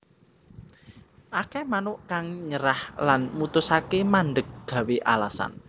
Akeh manuk kang nyerah lan mutusaké mandhek gawé alasan